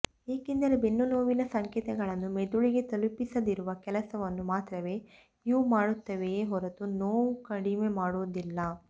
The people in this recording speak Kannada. ಏಕೆಂದರೆ ಬೆನ್ನುನೋವಿನ ಸಂಕೇತಗಳನ್ನು ಮೆದುಳಿಗೆ ತಲುಪಿಸದಿರುವ ಕೆಲಸವನ್ನು ಮಾತ್ರವೇ ಇವು ಮಾಡುತ್ತವೆಯೇ ಹೊರತು ನೋವು ಕಡಿಮೆ ಮಾಡುವುದಿಲ್ಲ